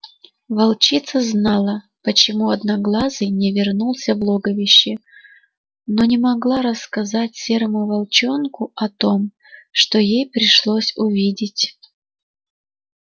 волчица знала почему одноглазый не вернулся в логовище но не могла рассказать серому волчонку о том что ей пришлось увидеть